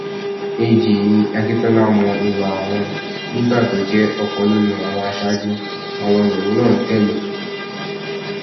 ag ní akíntola mọ ìwà àwọn nígbà tó jẹ ọkan nínú àwọn aṣáájú àwọn lòun náà tẹlẹ